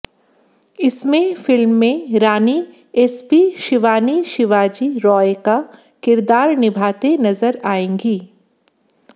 इसमें फिल्म में रानी एसपी शिवानी शिवाजी रॉय का किरदार निभाते नजर आएंगी